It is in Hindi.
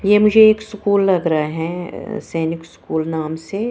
ये मुझे एक स्कूल लग रहा है अ सैनिक स्कूल नाम से।